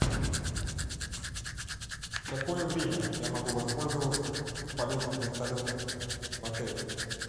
в какое время я могу воспользоваться полетом вертолета в отеле